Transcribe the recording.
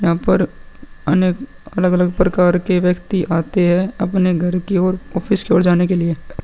यहाँ पर अनेक अलग-अलग प्रकार के व्यक्ति आते है। अपने घर की ओर ऑफिस की ओर जाने के लिए।